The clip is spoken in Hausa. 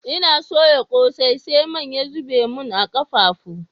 N'na soyan kose, sai man ya zubar mun a'kafafu.